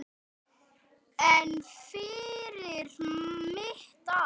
En fyrir mitt ár?